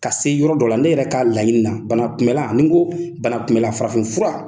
Ka se yɔrɔ dɔ la ne yɛrɛ ka laɲini bana kunbɛ la ni n ko bana kunbɛ la farafin fura.